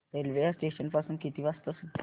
railway या station पासून किती वाजता सुटते